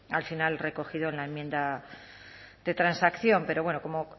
al final recogido en la enmienda de transacción pero bueno como